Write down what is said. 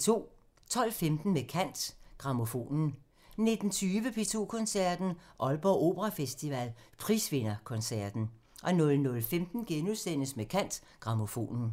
12:15: Med kant – Grammofonen 19:20: P2 Koncerten – Aalborg Operafestival – prisvinderkoncerten 00:15: Med kant – Grammofonen *